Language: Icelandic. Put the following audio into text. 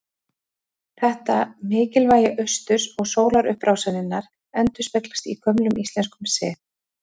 Þetta mikilvægi austurs og sólarupprásarinnar endurspeglast í gömlum íslenskum sið.